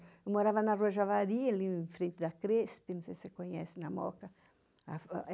Eu morava na Rua Javari, ali em frente da Cresp, não sei se você conhece, na Moca.